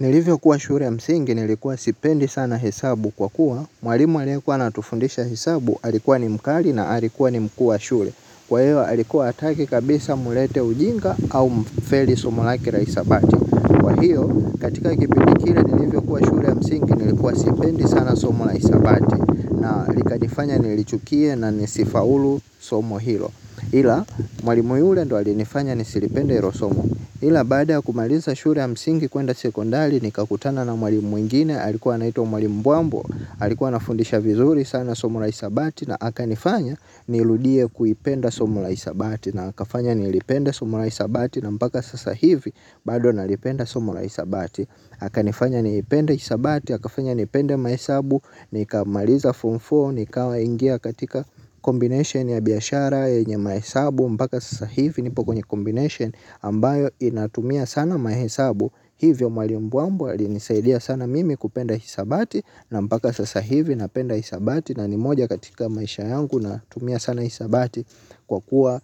Nilivyokuwa shule ya msingi nilikuwa sipendi sana hesabu kwa kuwa mwalimu aliyekuwa anatufundisha hesabu alikuwa ni mkali na alikuwa ni mkuu wa shule. Kwa hiyo alikuwa hataki kabisa mlete ujinga au mfeli somo lake la hisabati kwa hiyo katika kupindi kile nilivyokuwa shule ya msingi nilikuwa sipendi sana somo la hisabati na likanifanya nilichukie na nisifaulu somo hilo ila mwalimu yule ndiyo alinifanya nisilipende hilo somo ila baada ya kumaliza shule ya msingi kwenda sekondari nikakutana na mwalimu mwingine alikuwa anaitwa Mwalimu Mbuambo alikuwa anafundisha vizuri sana somo la hisabati na akanifanya nirudie kuipenda somo la hisabati na akafanya nilipende somo la hisabati na mpaka sasa hivi bado nalipenda somo la hisabati. Akanifanya niipende hisabati akafanya nipende mahesabu nikamaliza form four nikaingia katika combination ya biashara yenye mahesabu mpaka sasa hivi nipo kwenye combination ambayo inatumia sana mahesabu hivyo Mwalimu Mbuambo alnisaidia sana mimi kupenda hisabati na mpaka sasa hivi napenda hisabati na ni moja katika maisha yangu natumia sana hisabati. Kwa kuwa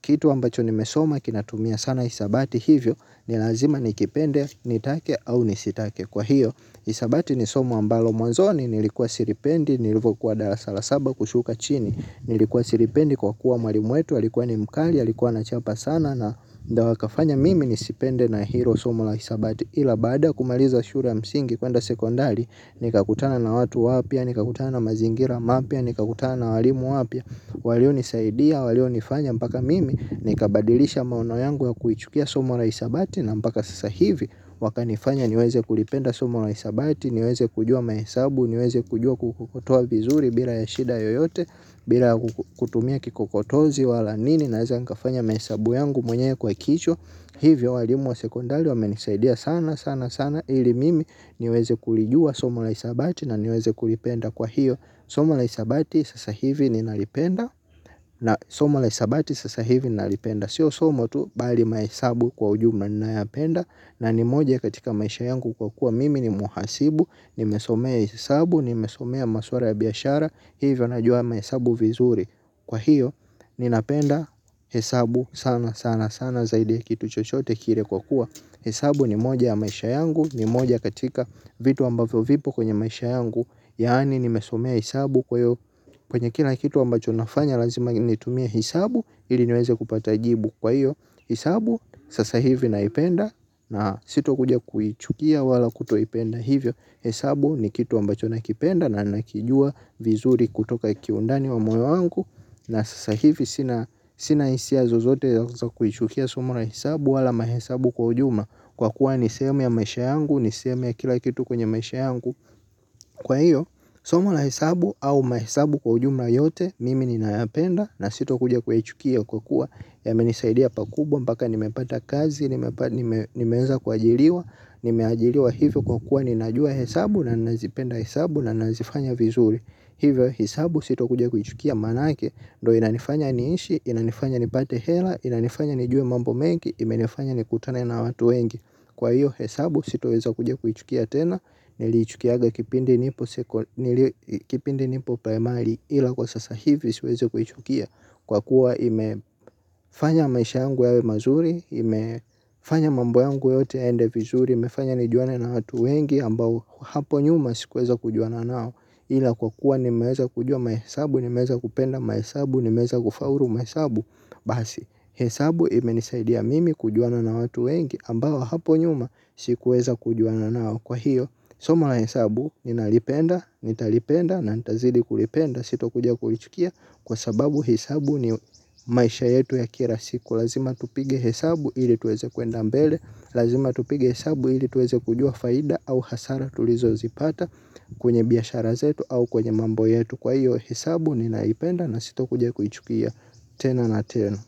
kitu ambacho nimesoma kinatumia sana hisabati hivyo ni lazima nikipende nitake au nisitake kwa hiyo hisabati ni somo ambalo mwanzoni nilikuwa silipendi nilivyokuwa darasa la saba kushuka chini nilikuwa silipendi kwa kuwa mwalimu wetu alikuwa ni mkali alikuwa anachapa sana na ndiyo akafanya mimi nisipende na hilo somo la hisabati ila baada ya kumaliza shule ya msingi kwenda sekondari, nikakutana na watu wapya, nikakutana na mazingira mapya, nikakutana na walimu wapya. Walionisaidia, walionifanya mpaka mimi nikabadilisha maono yangu ya kuichukia somo la hisabati na mpaka sasa hivi wakanifanya niweze kulipenda somo la hisabati, niweze kujua mahesabu, niweze kujua kutoa vizuri bila shida yoyote. Bila kutumia kikokotozi wala nini naweza nikafanya mahesabu yangu mwenyewe kwa kichwa. Hivyo walimu wa sekondari wamenisaidia sana sana sana ili mimi niweze kulijua somo la hisabati na niweze kulipenda kwa hiyo somo la hisabati sasa hivi ninalipenda na somo la hisabati sasa hivi nalipenda. Siyo somo tu bali mahesabu kwa ujumla ninayapenda na ni moja katika maisha yangu kwa kuwa mimi ni mhasibu nimesomea hesabu, nimesomea maswala ya biashara, hivyo najua mahesabu vizuri kwa hiyo ninapenda hesabu sana sana sana zaidi ya kitu chochote kile kwa kuwa hesabu ni moja ya maisha yangu, ni moja katika vitu ambavyo vipo kwenye maisha yangu yaani nimesomea hesabu kwa hiyo kwenye kila kitu ambacho nafanya lazima nitumie hesabu ili niweze kupata jibu. Kwa hiyo, hesabu sasa hivi naipenda na sitokuja kuichukia wala kutoipenda hivyo. Hesabu ni kitu ambacho nakipenda na nakijua vizuri kutoka kiundani wa moyo wangu. Na sasa hivi, sina sina hisia zozote za kuichukia somo la hesabu wala mahesabu kwa ujumla kwa kuwa ni sehemu ya maisha yangu, ni sehemu ya kila kitu kwenye maisha yangu. Kwa hiyo, somo la hesabu au mahesabu kwa ujumla yote mimi ninayapenda na sitokuja kuichukia kwa kuwa yamenisaidia pakubwa mpaka nimepata kazi, nimeweza kuajiriwa nimeajiriwa hivyo kwa kuwa ninajua hesabu na ninazipenda hesabu na ninazifanya vizuri hivyo hesabu sitokuja kuichukia maanake ndiyo inanifanya niishi, inanifanya nipate hela, inanifanya nijue mambo mengi, imenifanya nikutane na watu wengi. Kwa hivyo hesabu sitoweza kuja kuichukia tena, niliichukiaga kipindi kipindi nipo primary ila kwa sasa hivi siwezi kuichukia kwa kuwa imefanya maisha yangu yawe mazuri imefanya mambo yangu yote yaende vizuri imefanya nijuane na watu wengi ambao hapo nyuma sikuweza kujuana nao ila kwa kuwa nimeweza kujua mahesabu nimeweza kupenda mahesabu nimeweza kufaulu mahesabu basi hesabu imenisaidia mimi kujuana na watu wengi ambao hapo nyuma sikuweza kujuana nao kwa hiyo somo la hesabu ninalipenda, nitalipenda na nitazidi kulipenda sitokuja kulichukia kwa sababu hesabu ni maisha yetu ya kila siku lazima tupige hesabu ili tuweze kwenda mbele lazima tupige hesabu ili tuweze kujua faida au hasara tulizozipata kwenye biashara zetu au kwenye mambo yetu kwa hiyo hesabu ninaipenda na sitokuja kuichukia tena na tena.